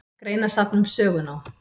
Greinasafn um sögunám.